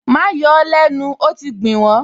Má yọ ó lẹ́nu, ó ti gbìn wọ́n!